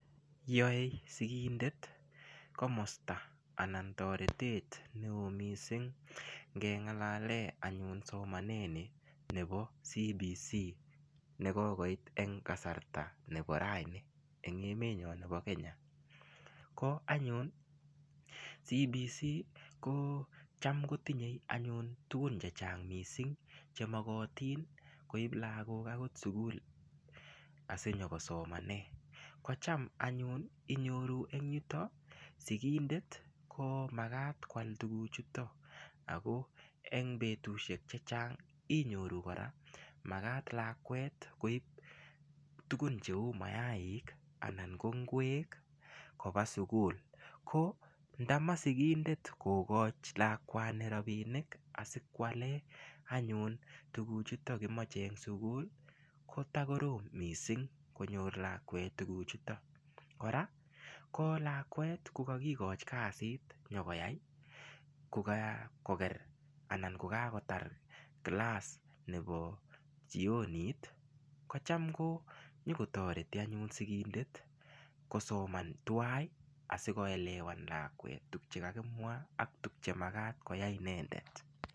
Yoe sikindet komosto neo missing ngengalalen anyun somanani bo CBC nekokoit en emenyon bo Kenya, ko CBC kotam kotinye anyun tugun chechang' missing chemokotin koib kipsomaninik koba sukul asikosomanen ,inyoru en yuto sikindet komakat koal tukuchutok ako en betusiek chechang' makat lakwet koib tuguk heu maik anan ko ngwek koba sukul ko ndama sikindet kokochi rapinik asikwale tukuchtok kimoche en sukul ko korom konyor lakwet tukuchuto kora ko lakwet kokokikochi kasit kokakoker kilas nebo jionit kotoreti sikindet kosoman tuai asikoelewan lakwet tuk chekakimwa anan chemakat koyai inendet.